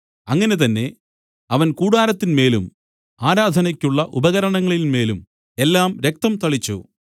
അങ്ങനെ തന്നെ അവൻ കൂടാരത്തിന്മേലും ആരാധനയ്ക്കുള്ള ഉപകരണങ്ങളിന്മേലും എല്ലാം രക്തം തളിച്ചു